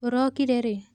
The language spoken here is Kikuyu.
ũrokire rĩ?